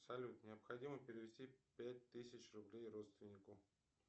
салют необходимо перевести пять тысяч рублей родственнику